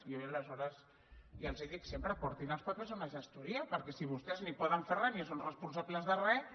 jo aleshores ja els ho dic sempre portin els papers a una gestoria perquè si vostès no hi poden fer res ni són responsables de res